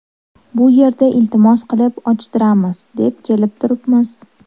Bu yerda iltimos qilib ochtiramiz, deb kelib turibmiz.